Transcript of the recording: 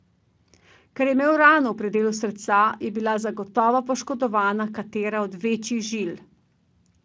Ker je imel rano v predelu srca, je bila zagotovo poškodovana katera od večjih žil.